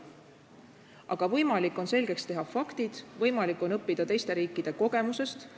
Aga võimalik on selgeks teha faktid, võimalik on õppida teiste riikide kogemusest.